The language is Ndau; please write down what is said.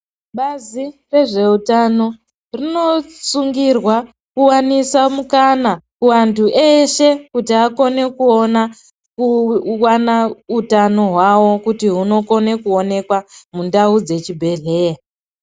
Bazi re zveutano rino sungirwa kuwanisa mukana ku antu eshe kuti akone kuona kuwana utano hwawo kuti huno kona kuonekwa mundau dze chi bhedhleya.